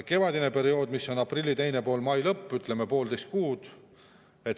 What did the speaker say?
Kevadine periood on aprilli teine pool kuni mai lõpp, ütleme poolteist kuud.